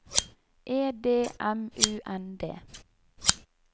E D M U N D